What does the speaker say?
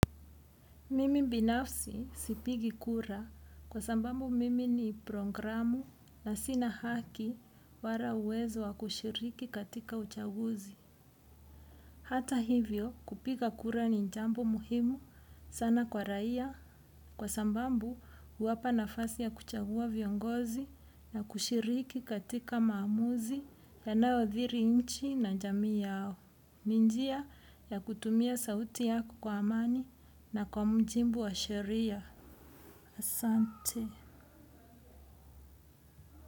Mimi binafsi sipigi kura kwa sababu mimi ni programu na sina haki wala uwezo wa kushiriki katika uchaguzi. Hata hivyo kupiga kura ni jambo muhimu sana kwa raia kwa sababu huwapa nafasi ya kuchagua viongozi na kushiriki katika maamuzi yanaodhiri nchi na jamii yao. Ni njia ya kutumia sauti yako kwa amani na kwa mjibu wa sheria. Asante.